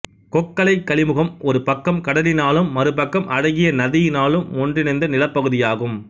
கொக்கலைக் களிமுகம் ஒரு பக்கம் கடலினாலும் மறுபக்கம் அழகிய நதியினாலும் ஒன்றிணைந்த நிலப்பகுதியாகும்